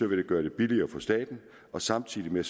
vil det gøre det billigere for staten og samtidig med